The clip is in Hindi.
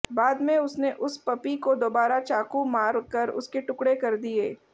बाद में उसने उस पपी को दोबारा चाकू मार कर उसके टुकड़े कर दिए